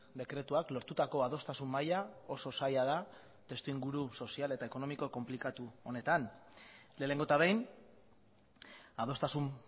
dekretuak lortutako adostasun maila oso zaila da testuinguru sozial eta ekonomiko konplikatu honetan lehenengo eta behin adostasun